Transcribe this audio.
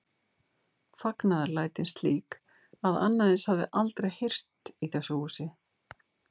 Fagnaðarlætin slík að annað eins hafði aldrei heyrst í þessu húsi.